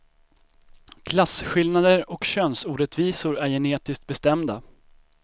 Klasskillnader och könsorättvisor är genetiskt bestämda.